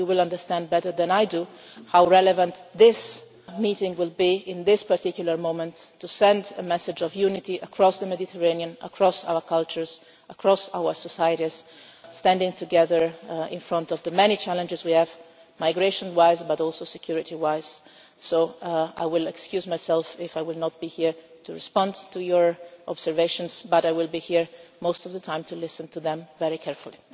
You will understand better than I how relevant this meeting will be, at this particular moment, to send a message of unity across the Mediterranean, across our cultures, across our societies, standing together in front of the many challenges we have migration wise, but also security wise. So I apologise if I am not here to respond to your observations, but I will be here most of the time to listen to them very carefully.